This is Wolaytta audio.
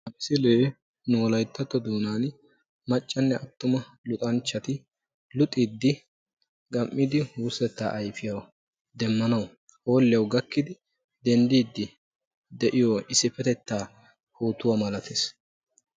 Ha misilee nu wolayttatto doonan maccanne attuma luxanchchati luxxiidi gam"idi wurssettaa ayfiyaa demmanawu hoolliyawu gakkidi denddiidi de'iyoo issipetettaa pootuwaa malatees.